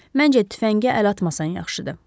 Məncə tüfəngi əl atmasan yaxşıdır.